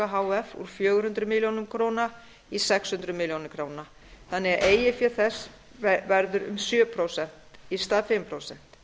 úr fjögur hundruð milljóna króna í sex hundruð milljóna króna þannig að eigið fé þess verður um sjö prósent í stað fimm prósent